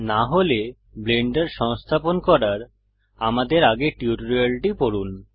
না হলে ব্লেন্ডার সংস্থাপন করার আমাদের আগের টিউটোরিয়ালটি পড়ুন